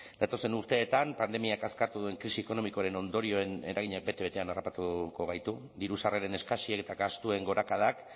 datozen urteetan pandemiak askatu duen krisi ekonomikoaren ondorioen eraginak bete betean harrapatuko gaitu diru sarreren eskasiak eta gastuen gorakadak